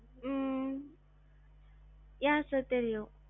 உம் yeah sir தெரியும்.